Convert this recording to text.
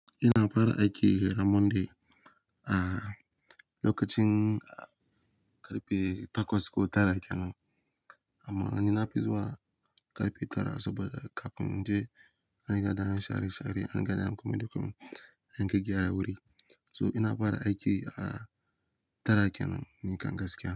Ina fara aiki ran Monday a lokacin karfe takwas ko tara kenan. Amma ai nafi zuwa karfe tara saboda kafin in je na riga an share-share, an gyara an yi komai da komai, an gyaggyara wuri. To ina fara aiki a tara kenan, ni kam gaskiya.